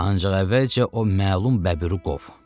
Ancaq əvvəlcə o məlum bəbiri qov.